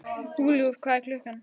Hugljúf, hvað er klukkan?